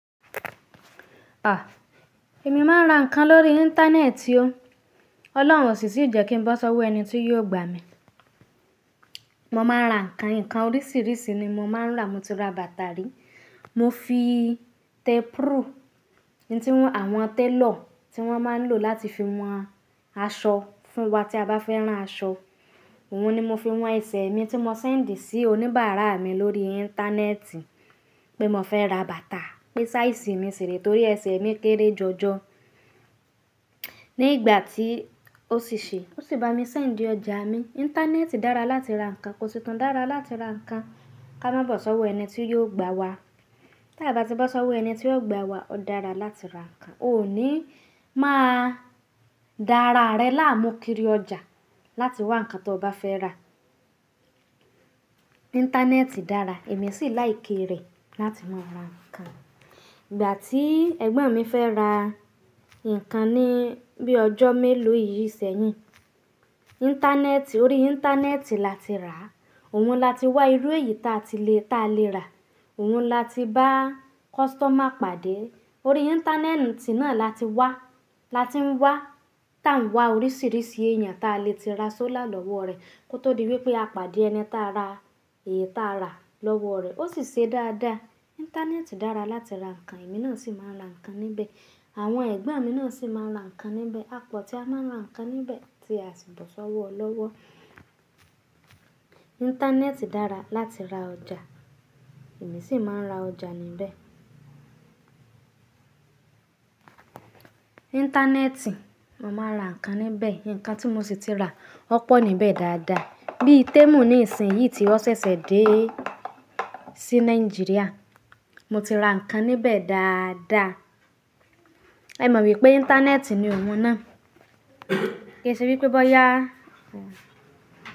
Èmi máa ń ra ǹnkan lórí Íńtánẹ́ẹ̀tì o. Ọlọ́run ò sì tì jẹ́ kí n bọ̀ sọ́wọ́ ẹni tí yóò gbà mi. Mo máa ń ra ǹkan, ǹkan oríṣìíríṣìí ni mo máa ń rà. Mo ti ra bàtà rí, mo fi tape rule, n tí àwọn télọ̀ tí wọ́n máa ń lò láti fi wọn aṣọ fún wa tí a bá fẹ́ rán aṣọ, òun ni mo fi wọn ẹsẹ̀ mi tí mo sẹ́ńdì sí oníbàárà mi lórí Íńtánẹ́ẹ̀tì pé mo fẹ́ ra bàtà, pé sáìsì mi ṣìre torí ẹsẹ̀ mi kéré jọjọ. Nígbà tí ó sì ṣe, ó sì bá mi sẹ́ńdì ọjà mi. Íńtánẹ́ẹ̀tì dára láti ra ǹnkan, kò sì tún dára láti ra ǹnkan ká má bọ́ sọ́wọ́ ẹni tí yóò gbà wa. Taa bá ti bọ́ sọ́wọ́ ẹni tí yóò gbà wa, ó dára láti ra ǹnkan. O ní má a dá ara rẹ láàmú kiri ọjà láti wá ǹnkan tó bá fẹ́ rà. Íńtánẹ́ẹ̀tì dára, èmi sì láìké rẹ̀ láti máa ra ǹnkan. Ìgbà tí ẹ̀gbọ́n mi fẹ́ ra ǹnkan ni bíi ọjọ́ mélòó yìí sẹ́yìn, Íńtánẹ́ẹ̀tì, orí Íńtánẹ́ẹ̀tì la ti rà. Òun la ti wá irú èyí ta ti lè--ta le rà. Òun la ti bá kọ́sítọ́mà pàdé. Orí Íńtánẹ́ẹ̀tì náà la ti wá. La ti ń wá. Tà ń wá oríṣìíríṣìí èèyàn ta lè ti ra sọ́lá lọ́wọ́ rẹ̀ kó tó di wípé a pàdé ẹni tá a ra èyí ta rà lọ́wọ́ rẹ̀. Ó sì ṣe dáadáa. Íńtánẹ́ẹ̀tì dára láti ra ǹnkan, èmi náà sì máa ń ra ǹnkan níbẹ̀. Àwọn ẹ̀gbọ́n mi náà sì máa ń ra ǹnkan níbẹ̀. A pọ̀ tí a máa ń ra ǹnkan níbẹ̀ ti a sì bọ̀ sọ́wọ́ lọ́wọ́. Íńtánẹ́ẹ̀tì dára láti ra ọjà, èmi sì máa ń ra ọjà níbẹ̀. Íńtánẹ́ẹ̀tì, mo máa ń ra nǹkan níbẹ̀. Ǹnkan tí mo sì ti rà, ó pọ̀ níbẹ̀ dáadáa. Bí i témù níìsínyìí tí ọ́ ṣẹ̀ṣẹ̀ dé sí Nàìjíríà, mo ti ra ǹnkan níbẹ̀ dáadáa. Ẹ mọ̀ wípé Íńtánẹ́ẹ̀tì ni òun náà. Kí ẹ ṣe wípé bọ́yá.